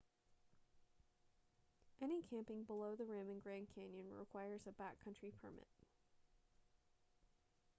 any camping below the rim in grand canyon requires a backcountry permit